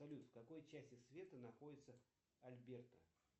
салют в какой части света находится альберта